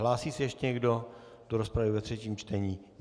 Hlásí se ještě někdo do rozpravy ve třetím čtení?